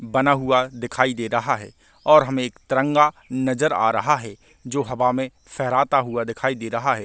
बना हुआ दिखाई दे रहा है और हमे एक तिरंगा नज़र आ रहा है जो हवा में फहराता हुआ दिखाई दे रहा है।